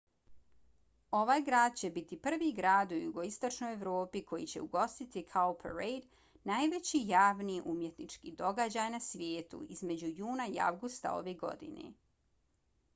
ovaj grad će biti prvi grad u jugoistočnoj evropi koji će ugostiti cowparade najveći javni umjetnički događaj na svijetu između juna i avgusta ove godine